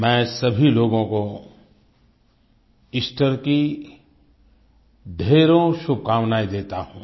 मैं सभी लोगों को ईस्टर की ढ़ेरों शुभकामनायें देता हूँ